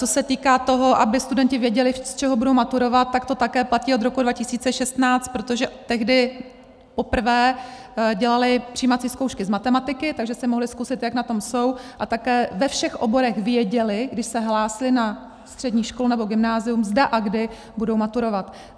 Co se týká toho, aby studenti věděli, z čeho budou maturovat, tak to také platí od roku 2016, protože tehdy poprvé dělali přijímací zkoušky z matematiky, takže si mohli zkusit, jak na tom jsou, a také ve všech oborech věděli, když se hlásili na střední školu nebo gymnázium, zda a kdy budou maturovat.